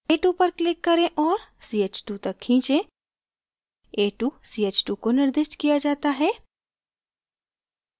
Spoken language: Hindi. a2 पर click करें और ch2 तक खींचें a2 ch2 को निर्दिष्ट किया जाता है